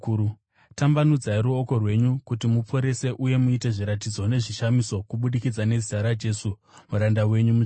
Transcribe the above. Tambanudzai ruoko rwenyu kuti muporese uye muite zviratidzo nezvishamiso kubudikidza nezita raJesu muranda wenyu mutsvene.”